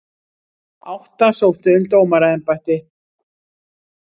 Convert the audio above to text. Átta sóttu um dómaraembætti